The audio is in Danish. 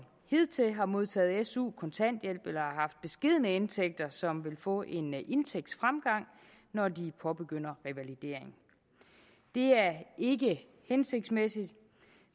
hidtil har modtaget su kontanthjælp eller har haft beskedne indtægter som vil få en indtægtsfremgang når de påbegynder revalidering det er ikke hensigtsmæssigt